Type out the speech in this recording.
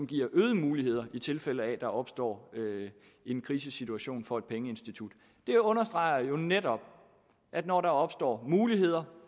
giver øgede muligheder i tilfælde af at der opstår en krisesituation for et pengeinstitut det understreger jo netop at når der opstår muligheder